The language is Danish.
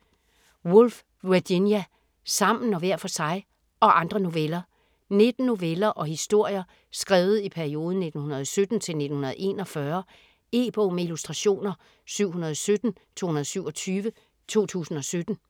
Woolf, Virginia: Sammen og hver for sig: - og andre noveller 19 noveller og historier skrevet i perioden 1917-1941. E-bog med illustrationer 717227 2017.